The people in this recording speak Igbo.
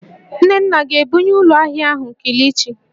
Nnenna ga-ebunye ụlọ ahịa ahụ kilichi?